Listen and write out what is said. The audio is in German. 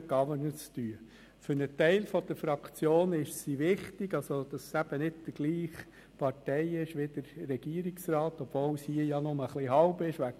Sobald die Kuverts alle eingesammelt und hier vorne ausgezählt sind, gebe ich die Wahlergebnisse des Vizepräsidiums des Regierungsrats bekannt, aber erst, wenn hier vorne alles ausgezählt ist.